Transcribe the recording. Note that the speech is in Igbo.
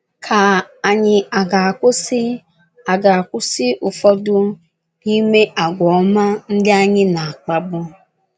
Ka ànyị aga-akwụsị aga-akwụsị ụfọdụ n’ime àgwà ọma ndị a anyị na - akpabu?